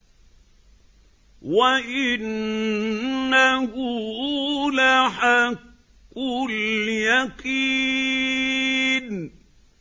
وَإِنَّهُ لَحَقُّ الْيَقِينِ